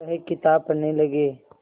वह किताब पढ़ने लगे